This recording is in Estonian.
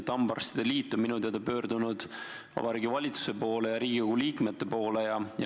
Hambaarstide liit on minu teada pöördunud Vabariigi Valitsuse ja Riigikogu liikmete poole.